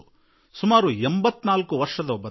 ಸುಮಾರು 84 ವರ್ಷದ ಒಬ್ಬ ತಾಯಿ